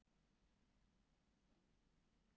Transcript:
Svo næst þegar það er æfing.